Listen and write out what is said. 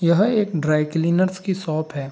यह एक dry cleaners की शॉप है।